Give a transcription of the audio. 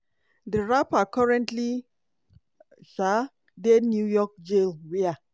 di rapper currently um dey new york jail wia